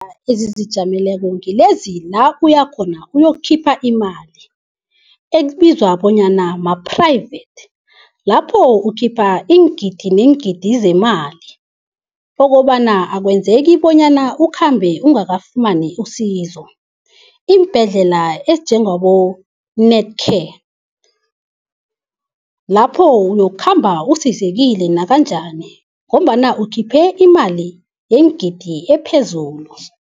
Iimbhedlela zizijameleko ngilezi la uyakhona uyokukhipha imali, ekubizwa bonyana ma-private. Lapho ukhipha iingidi neengidi zemali okobana akwenzeki bonyana ukhambe ungakafumani usizo. Iimbhedlela ezinjengabo-Netcare, lapho uyokukhamba usizekile nakanjani ngombana ukhiphe imali yeengidi ephezulu.